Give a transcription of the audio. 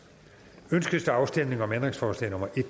ønskes der afstemning om ændringsforslag nummer en